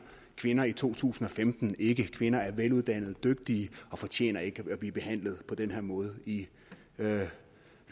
kvinder i to tusind og femten ikke kvinder er veluddannede dygtige og fortjener ikke at blive behandlet på den her måde i